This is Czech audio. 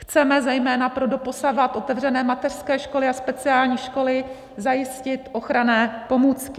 Chceme zejména pro doposavad otevřené mateřské školy a speciální školy zajistit ochranné pomůcky.